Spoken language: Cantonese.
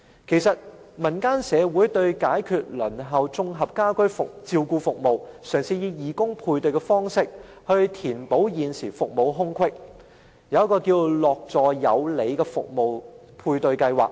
就此，民間社會為解決輪候綜合家居照顧服務的情況，嘗試以義工配對方式，填補現時的服務空隙，推出一個名為"樂助有里"服務配對計劃。